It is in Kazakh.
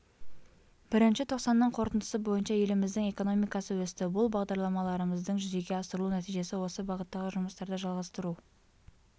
бірінші тоқсанның қорытындысы бойынша еліміздің экономикасы өсті бұл бағдарламаларымыздың жүзеге асырылу нәтижесі осы бағыттағы жұмыстарды жалғастыру